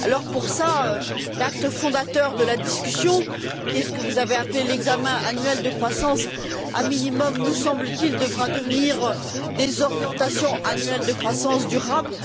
Pour cela, l'acte fondateur de la discussion qui est ce que vous avez appelé l'examen annuel de croissance au minimum nous semble t il devra devenir des orientations annuelles de croissance durable.